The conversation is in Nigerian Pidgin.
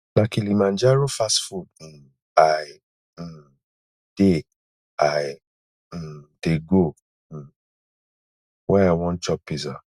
na kilimanjaro fast food um i um dey i um dey go um wen i wan chop pizza